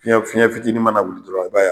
Fiyɛn fiyɛn fitini mana wuli dɔrɔn i b'a ye.